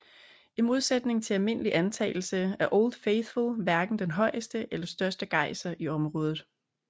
I modsætning til almindelig antagelse er Old Faithful hverken den højeste eller største gejser i området